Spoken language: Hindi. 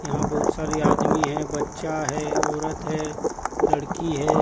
यहां बहुत सारी आदमी है बच्चा है औरत है लड़की है।